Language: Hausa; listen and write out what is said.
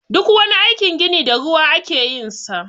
Duk wani aikin gini da ruwa ake yin sa.